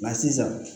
Nka sisan